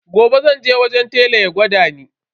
Gobe zan je wajen telan ya gwada ni.